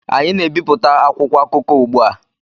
anyị na-ebipụta akwụkwọ akụkọ ugbu a